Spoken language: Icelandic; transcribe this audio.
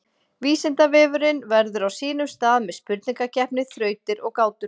Vísindavefurinn verður á sínum stað með spurningakeppni, þrautir og gátur.